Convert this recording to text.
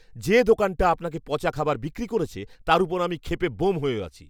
যে দোকানটা আপনাকে পচা খাবার বিক্রি করেছে তার ওপর আমি ক্ষেপে ব্যোম হয়ে আছি।